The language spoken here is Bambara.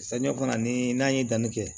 Samiya fana ni n'a ye danni kɛ